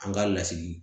An ka lasigi